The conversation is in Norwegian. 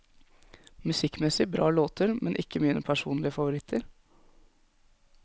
Musikkmessig bra låter, men ikke mine personlige favoritter.